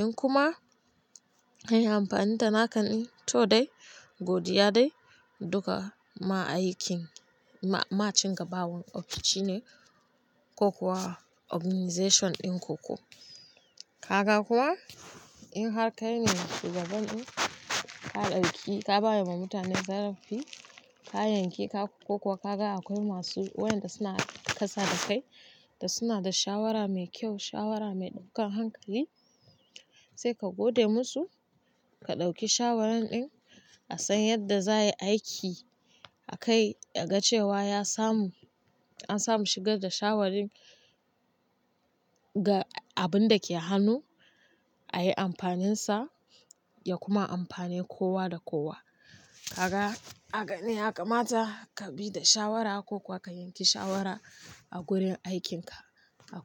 In kuma an yi amfani da naka ɗin, to dai godiya dai duka ma'aikin, ma cin gabawan ofishin ne ko kuwa organization ɗin ku ko. Kaga ko in har kaine shugaban ɗin, ka ɗauki ka ba ma mutane zarafi, ka yanki ka ko kuwa ka ga akwai masu wayanda suna kasa da kai da suna da shawara mai kyau, shawara mai ɗaukan hankali, sai ka gode musu, ka ɗauki shawaran ɗin a san yadda za yi aiki akai ka ga cewa ya samu, an samu shigar da shawarin ga abun da ke hannu a yi amfaninsa ya kuma amfane kowa da kowa. Kaga, haka ne yaka mata ka bi da shawara ko kuwa ka yanke shawara a gurin aikinka akwai.